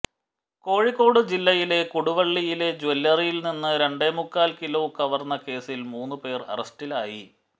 കോഴിക്കോട് ജില്ലയിലെ കൊടുവള്ളിയിലെ ജ്വല്ലറിയിൽനിന്നു രണ്ടേമുക്കാൽ കിലോ കവർന്ന കേസിൽ മൂന്നു പേർ അറസ്റ്റിലായി